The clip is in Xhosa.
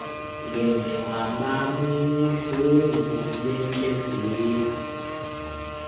ndenziwa bubuhlungu bentliziyo